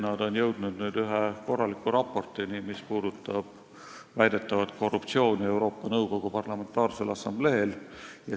Nad on jõudnud nüüd ühe korraliku raportini väidetava korruptsiooni kohta Euroopa Nõukogu Parlamentaarsel Assambleel.